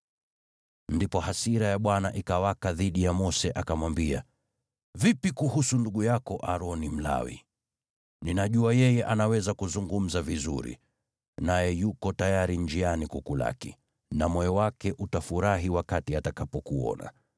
Ndipo hasira ya Bwana ikawaka dhidi ya Mose, akamwambia, “Vipi kuhusu ndugu yako, Aroni Mlawi? Ninajua yeye anaweza kuzungumza vizuri. Naye yuko tayari njiani kukulaki, na moyo wake utafurahi wakati atakapokuona.